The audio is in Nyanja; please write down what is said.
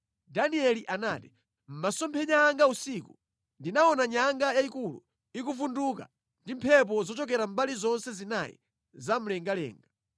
Danieli anati, “Mʼmasomphenya anga usiku, ndinaona nyanga yayikulu ikuvunduka ndi mphepo zochokera mbali zonse zinayi za mlengalenga.